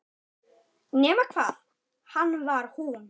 Nema hvað hann var hún.